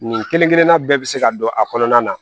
Nin kelen kelenna bɛɛ bɛ se ka don a kɔnɔna na